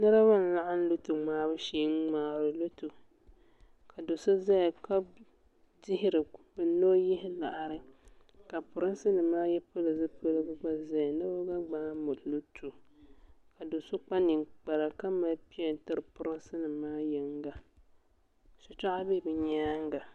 Niribi n laɣim lɔto ŋmaabu shee n mŋaari lɔto ka do' ʒaya ka dihiri ni ɔ yihi liɣiri. ka pirinsi nim ayi gba pili zipiligu gba ʒɛya nibɛ gba mŋaa lɔto ka doso kpa ninkpara ka mali pen n tiri pirinsi nim maa yiŋga shi tɔɣu be bɛ nyaaŋa.